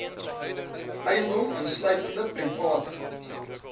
eiendom insluitende private